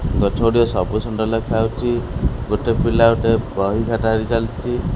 ଗଛ ଗୁଡ଼ିକ ସବୁ ସୁନ୍ଦର ଲେଖା ହୋଉଚି ଗୋଟେ ପିଲା ଗୋଟେ ବହି ଖାତା ଧରି ଚାଲଚି।